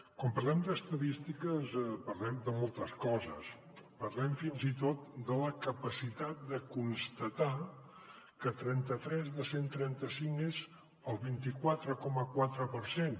quan parlem d’estadístiques parlem de moltes coses parlem fins i tot de la capacitat de constatar que trenta tres de cent i trenta cinc és el vint quatre coma quatre per cent